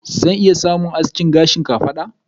Zan iya samun aski gashi na kafada.